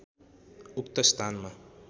उक्त स्थानमा